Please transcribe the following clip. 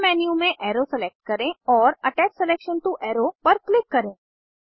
submenu में arrow select करें और अटैच सिलेक्शन टो अरो पर क्लिक करें